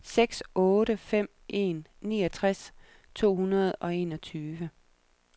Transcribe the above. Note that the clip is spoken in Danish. seks otte fem en niogtres to hundrede og enogtyve